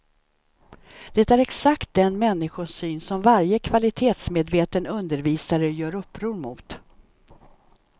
Det är exakt den människosyn som varje kvalitetsmedveten undervisare gör uppror mot.